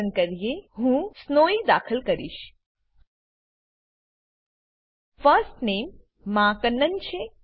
પસંદ કરીએ હું સ્નોવી દાખલ કરીશ ફર્સ્ટ નામે મા કન્નન છે